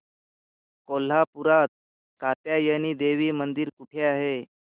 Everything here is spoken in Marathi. कोल्हापूरात कात्यायनी देवी मंदिर कुठे आहे